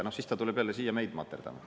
Ja siis ta tuleb jälle siia meid materdama.